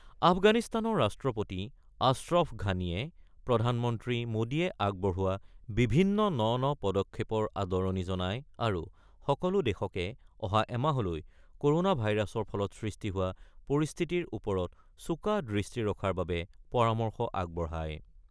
আফগানিস্তানৰ ৰাষ্ট্ৰপতি আশ্ৰফ ঘানীয়ে প্ৰধানমন্ত্ৰী মোদীয়ে আগবঢ়োৱা বিভিন্ন ন ন পদক্ষেপৰ আদৰণি জনাই আৰু সকলো দেশকে অহা এমাহলৈ ক'ৰ'না ভাইৰাছৰ ফলত সৃষ্টি হোৱা পৰিস্থিতিৰ ওপৰত চোকা দৃষ্টি ৰখাৰ বাবে পৰামৰ্শ আগবঢ়ায়।